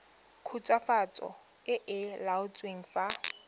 khutswafatso e e laotsweng fa